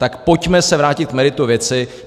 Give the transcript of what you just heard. Tak se pojďme vrátit k meritu věci.